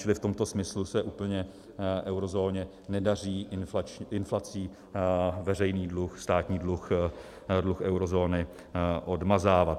Čili v tomto smyslu se úplně eurozóně nedaří inflací veřejný dluh, státní dluh, dluh eurozóny odmazávat.